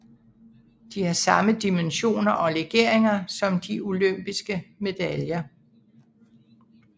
De har samme dimensioner og legeringer som de olympiske medaljer